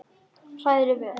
Hrærið vel.